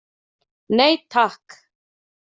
Nei, takk!